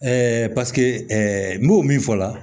paseke n b'o min fɔ la